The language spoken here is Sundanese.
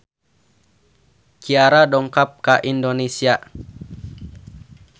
Ciara dongkap ka Indonesia